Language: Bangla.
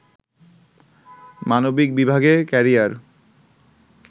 মানবিক বিভাগে ক্যারিয়ার